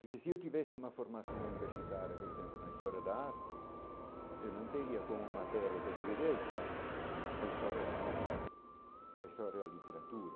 Porque se eu tivesse uma formação universitária, por exemplo, na história da arte, eu não teria como matéria que deveria estar a história da música, a história da literatura,